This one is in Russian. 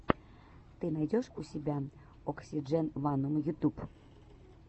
ты найдешь у себя оксидженванум ютюб